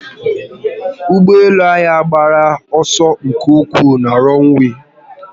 Ugboelu anyi agbaghi oso nke ukwuu na ronwee